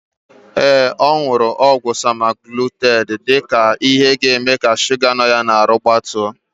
Ee, ọ nụrụ ọgwụ semaglutaid dịka ihe ga-eme ka shuga nọ ya n'ahụ gbatuo.